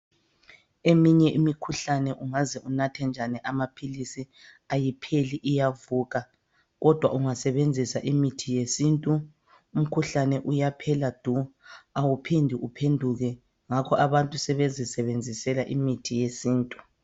Eminye imikhuhlane ungaze unathe njani amaphilisi ayipheli iyavuka kodwa ungasebenzisa imithi yesintu umkhuhlane uyaphela du! Awuphindi uphenduke, ngako abantu sebezisebenzisela imithi yesintu.